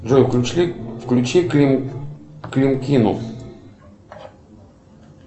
джой включи климкину